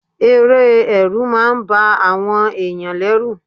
Eré Ẹ̀rù máa ń ba àwọn ẹ̀yàn lẹ́rù.